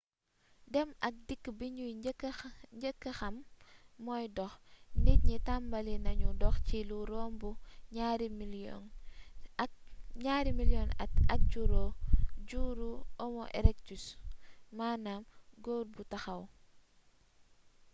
dem ak dikk bi ñu njëk xam moy dox nit ñi tambali neñu dox ci lu romb ñari milions at ak juru homo erectus maanaam gor bu taxaw